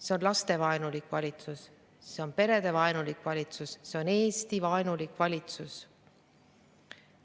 See on lastevaenulik valitsus, see on perevaenulik valitsus, see on Eesti-vaenulik valitsus.